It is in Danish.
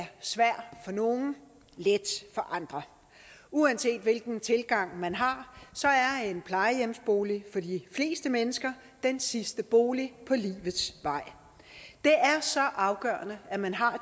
er svær for nogle og let for andre uanset hvilken tilgang man har er en plejehjemsbolig for de fleste mennesker den sidste bolig på livets vej og så afgørende at man har